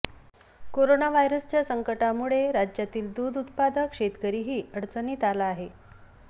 कोरोनाव्हायरसच्या संकटामुळे राज्यातील दूध उत्पादक शेतकरीही अडचणीत आला आहे